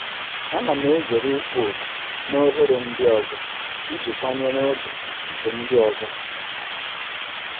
Ana m ezere ịkpọ oku na oghere ndị ọzọ iji kwanyere oge nke ndị ọzọ ùgwù.